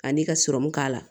Kan'i ka sɔrɔmu k'a la